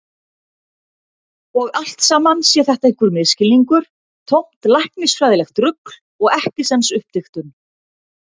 Og allt saman sé þetta einhver misskilningur, tómt læknisfræðilegt rugl og ekkisens uppdiktun.